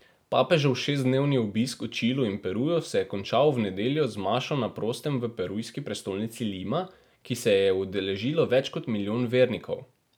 Papežev šestdnevni obisk v Čilu in Peruju se je končal v nedeljo z mašo na prostem v perujski prestolnici Lima, ki se je je udeležilo več kot milijon vernikov.